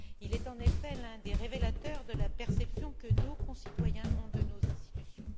Il est en effet l'un des révélateurs de la perception que nos concitoyens ont de nos institutions.